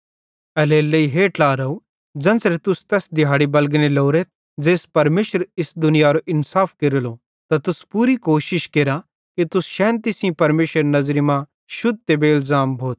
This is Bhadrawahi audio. एल्हेरेलेइ हे ट्लारव ज़ेन्च़रे तुस तैस दिहैड़ी बलगने लोरेथ ज़ेइस परमेशर इस दुनियारो इन्साफ केरेलो त तुस पूरी कोशिश केरा कि तुस शैन्ती सेइं परमेशरेरे नज़री मां शुद्ध ते बेइलज़ाम भोथ